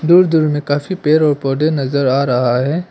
कुछ दूर में काफी पेड़ और पौधे नजर आ रहा है।